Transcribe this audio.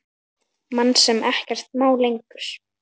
Mann sem ekkert má lengur.